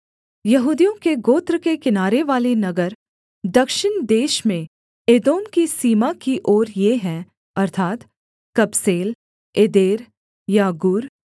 यहूदियों के गोत्र के किनारेवाले नगर दक्षिण देश में एदोम की सीमा की ओर ये हैं अर्थात् कबसेल एदेर यागूर